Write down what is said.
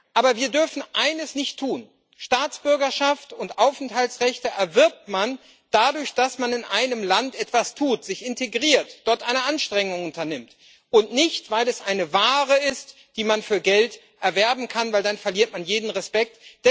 Aber wir dürfen eines nicht tun Staatsbürgerschaft und Aufenthaltsrechte erwirbt man dadurch, dass man in einem Land etwas tut, sich integriert, dort alle Anstrengungen unternimmt, und nicht, weil es eine Ware ist, die man für Geld erwerben kann, denn dann verliert man jeden Respekt.